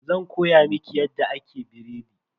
Zan koya miki yadda ake biredi.